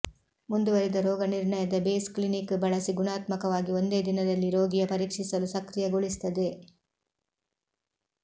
ಮುಂದುವರಿದ ರೋಗನಿರ್ಣಯದ base clinic ಬಳಸಿ ಗುಣಾತ್ಮಕವಾಗಿ ಒಂದೇ ದಿನದಲ್ಲಿ ರೋಗಿಯ ಪರೀಕ್ಷಿಸಲು ಸಕ್ರಿಯಗೊಳಿಸುತ್ತದೆ